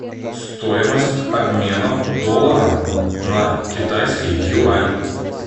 стоимость обмена доллара на китайский юань